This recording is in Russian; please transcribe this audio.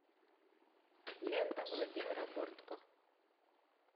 лента владимира бортко